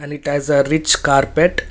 and it has a rich carpet.